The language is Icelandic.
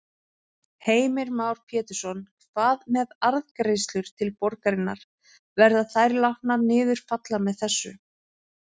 Heimir Már Pétursson: Hvað með arðgreiðslur til borgarinnar, verða þær látnar niður falla með þessu?